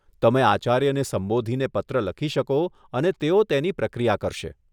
તમે આચાર્યને સંબોધીને પત્ર લખી શકો અને તેઓ તેની પ્રક્રિયા કરશે.